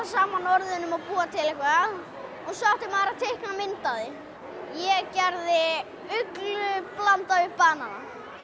saman orðunum og búa til eitthvað og svo átti maður að teikna mynd af því ég gerði uglu blandaða við banana